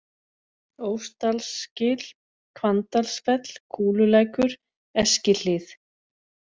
Ósdalsgil, Hvanndalsfell, Kúlulækur, Eskihlíð